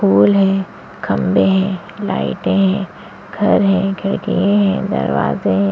फूल हैं खंभे हैं लाइटे हैं घर हैं खिड़किए हैं दरवाजे हैं।